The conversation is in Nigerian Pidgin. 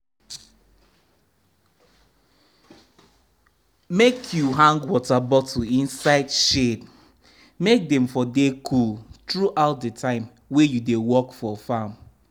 make u hang water bottle inside shade make dem for dey cool throughout the time wey u dey work for farm